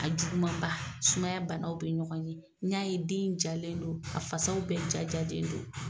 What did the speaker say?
A juguman ba sumaya bana bɛ ɲɔgɔn n ɲa ye den jalen don a fasaw bɛɛ jajalen don.